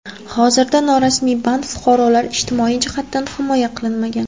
Hozirda norasmiy band fuqarolar ijtimoiy jihatdan himoya qilinmagan.